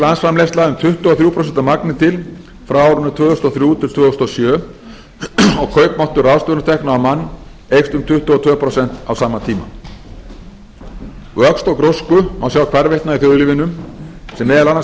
landsframleiðsla um tuttugu og þrjú prósent að magni til frá árinu tvö þúsund og þrjú til tvö þúsund og sjö og kaupmáttur ráðstöfunartekna á mann eykst um tuttugu og tvö prósent á sama tíma vöxt og grósku má sjá hvarvetna í þjóðlífinu sem meðal annars